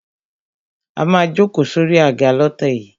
A má a jókòó sórí àga lọ́tẹ̀ yìí.